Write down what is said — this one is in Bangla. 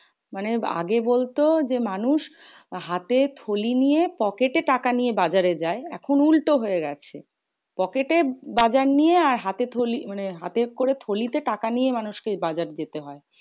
মানে আগে বলতো যে মানুষ হাতে থলি নিয়ে pocket টাকা নিয়ে বাজারে যায়। এখন উল্টো হয়ে গেছে। pocket এ বাজার নিয়ে হাতে থলি মানে হাতে করে থলিতে টাকা নিয়ে মানুষ কে বাজার যেতে হয়।